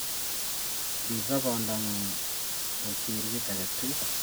Rip sobondang'ung' kosir kit age tugul.